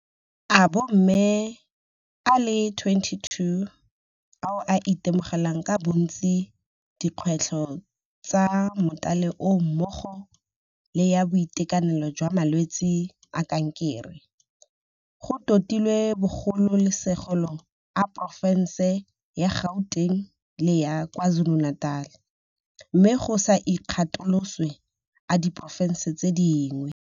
A bomme a le 22 ao a itemogelang ka bontsi dikgwetlho tsa mothale oo mmogo le ya boitekanelo jwa malwetse a kankere, go totilwe bogolosegolo a porofense ya Gauteng le ya KwaZulu-Natal, mme go sa ikgatoloswe a di porofense tse dingwe.